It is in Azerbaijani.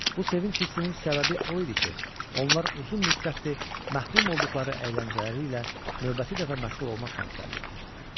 Bu sevinc hissinin səbəbi o idi ki, onlar uzun müddətdir məhrum olduqları əyləncələri ilə növbəti dəfə məşğul olmaq şansı əldə etmişdilər.